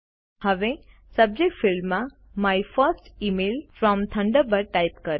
હવે સબ્જેક્ટ ફિલ્ડમાં my first email from Thunderbird type કરો